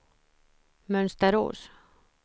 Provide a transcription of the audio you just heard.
Mönsterås